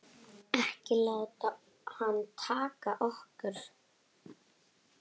Ekki láta hana taka okkur.